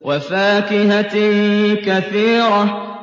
وَفَاكِهَةٍ كَثِيرَةٍ